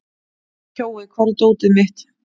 Kjói, hvar er dótið mitt?